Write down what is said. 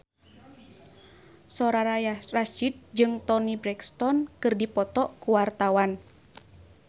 Soraya Rasyid jeung Toni Brexton keur dipoto ku wartawan